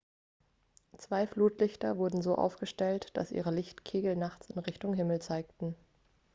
zwei flutlichter wurden so aufgestellt dass ihre lichtkegel nachts in richtung himmel zeigten